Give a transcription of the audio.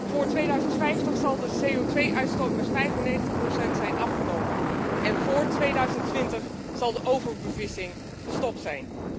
Vόόr 2050 zal de CO2 uitstoot met 95 zijn afgenomen en vόόr 2020 zal de overbevissing gestopt zijn.